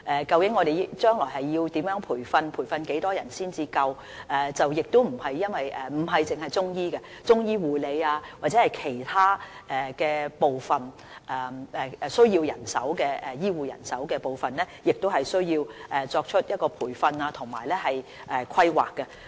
究竟將來要如何培訓，以及培訓多少人員才足夠；除中醫外，中醫護理或其他需要醫護人手的部分，亦需作出培訓和規劃。